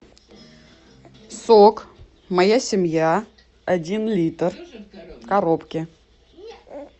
сок моя семья один литр в коробке